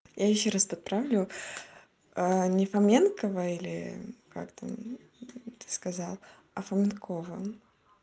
я ещё раз подправлю а не фоменкова или как там ты сказал а фоменкова